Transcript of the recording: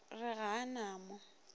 re ga a na mo